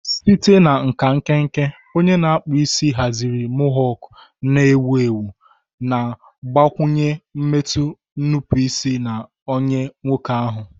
Site na nka nkenke, onye na-akpụ isi haziri mohawk na-ewu ewu, na-agbakwụnye mmetụ nnupụisi na anya nwoke ahụ.